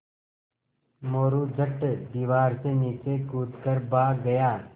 मोरू झट दीवार से नीचे कूद कर भाग गया